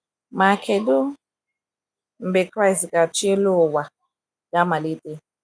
Ma kedụ mgbe Kraịst ga achi elu ụwa ga - amalite?